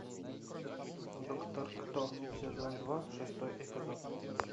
доктор кто сезон два шестой эпизод